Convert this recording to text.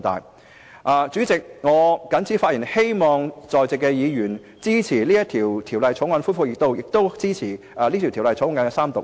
代理主席，我謹此陳辭，希望在席議員支持《條例草案》恢復二讀及三讀。